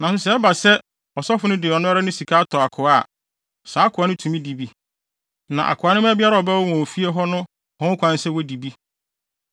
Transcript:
Nanso sɛ ɛba sɛ ɔsɔfo no de ɔno ara ne sika tɔ akoa a, saa akoa no tumi di bi. Na akoa no mma biara a ɔbɛwo wɔn wɔ fie hɔ no wɔ ho kwan sɛ wodi bi.